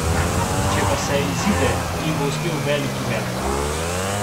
Če pa se izide, jim bo uspel veliki met.